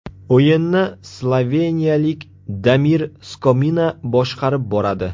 O‘yinni sloveniyalik Damir Skomina boshqarib boradi.